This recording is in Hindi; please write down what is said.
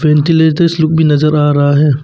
वेन्तिलेतोर्स लोग भी नजर आ रहा है।